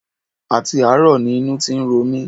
Àti àárọ̀ ni inú ti ń ro mi